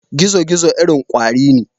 Gizo-gizo irin kwari ne.